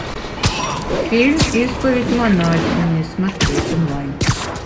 фильм исповедь монахини смотреть онлайн